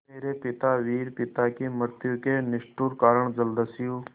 मेरे पिता वीर पिता की मृत्यु के निष्ठुर कारण जलदस्यु